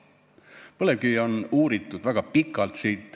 Põlevkivi on uuritud väga pikalt.